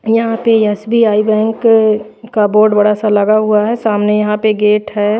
यहां पे SBI bank क बोर्ड बड़ा सा लगा हुआ है सामने यहां पे गेट है।